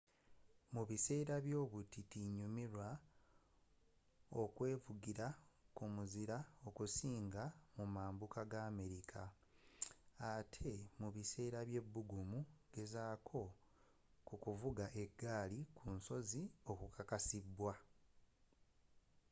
mu biseera by'obutiti nyumirwa okwevugira ku muzira okusinga mu mambuka g'america ate ne mubiseera by'ebbugumu gezaako kukuvuga eggaali ku nsozi okukakasiddwa